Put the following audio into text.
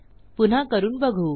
पुन्हा करून बघू